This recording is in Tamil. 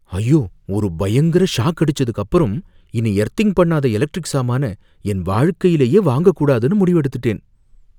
ஐயோ! ஒரு பயங்கர ஷாக் அடிச்சதுக்கு அப்பறம், இனி எர்த்திங் பண்ணாத எலக்ட்ரிக் சாமான என் வாழ்க்கையிலேயே வாங்கக் கூடாதுனு முடிவெடுத்துட்டேன்